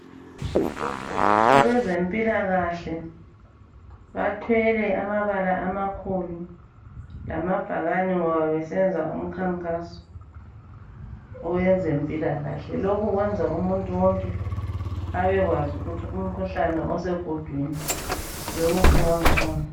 Abezempilakahle bathwele amabala amakhulu lamabhakane ngoba besenza umkhankaso owezempilakahle. Lokhu kwenza umuntu wonke abekwazi ukuthi umkhuhlane osegudwini yiwuphi wang'khona.